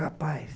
Rapaz.